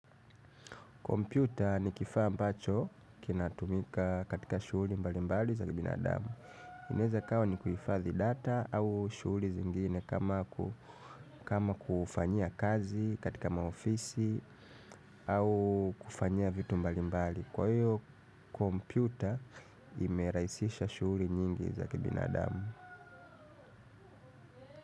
Kompyuta ni kifaa ambacho kinatumika katika shughuli mbalimbali za kibinadamu. Inaweza kawa ni kuhifathi data au shughuli zingine kama kufanya kazi katika maofisi au kufanya vitu mbali mbali. Kwa hiyo kompyuta imerahisisha shughuli nyingi za kibinadamu.